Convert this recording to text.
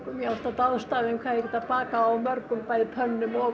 ég hef alltaf dáðst að því hvað þær geta bakað á mörgum pönnum og